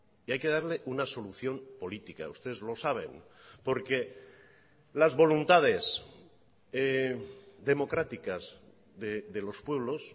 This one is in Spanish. y hay que darle una solución política ustedes lo saben porque las voluntades democráticas de los pueblos